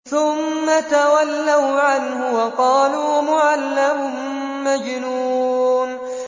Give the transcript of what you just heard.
ثُمَّ تَوَلَّوْا عَنْهُ وَقَالُوا مُعَلَّمٌ مَّجْنُونٌ